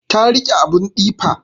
Ta riƙe abun tsifa